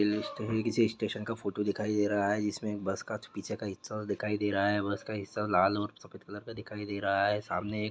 ये किसी स्टेशन का फोटो दिखाई दे रहा है इसमे एक बस का पीछे का हिस्सा दिखाई दे रहा है बस का हिस्सा लाल और सफेद कलर का दिखाई दे रहा है सामने एक--